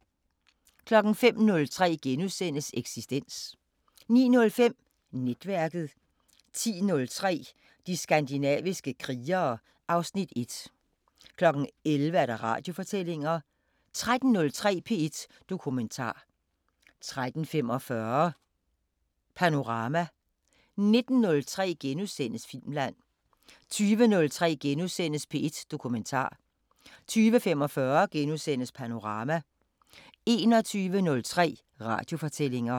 05:03: Eksistens * 09:05: Netværket 10:03: De skandinaviske krigere (Afs. 1) 11:00: Radiofortællinger 13:03: P1 Dokumentar 13:45: Panorama 19:03: Filmland * 20:03: P1 Dokumentar * 20:45: Panorama * 21:03: Radiofortællinger